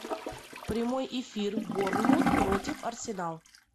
прямой эфир борнмут против арсенал